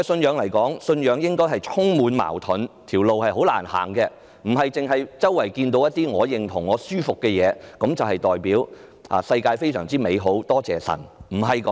對我來說，信仰應是充滿矛盾和滿途荊棘，而不是只看到四周我認同和感到舒服的事物，顯示世界非常美好，感謝神，不是這樣。